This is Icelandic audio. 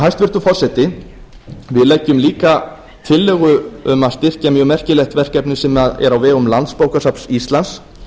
hæstvirtur forseti við leggjum líka fram tillögu um að styrkja mjög merkilegt verkefni sem er á vegum landsbókasafns íslands